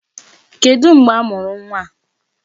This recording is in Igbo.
Kedụ mgbe a mụrụ nwa a?